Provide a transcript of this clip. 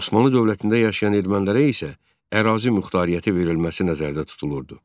Osmanlı dövlətində yaşayan ermənilərə isə ərazi muxtariyyəti verilməsi nəzərdə tutulurdu.